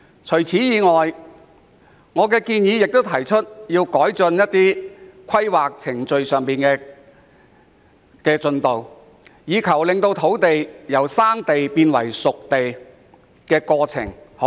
此外，我亦在議案中建議政府加快土地規劃程序，從而縮短土地由"生地"變成"熟地"的過程。